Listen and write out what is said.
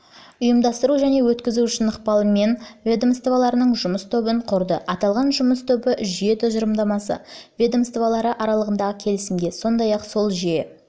ұйымдастыру және өткізу үшін ықпалымен ведомствоаралық жұмыс тобын құрды аталған жұмыс тобы жүйе тұжырымдамасы ведомстволары аралығындағы келісімге сондай-ақ сол жүйе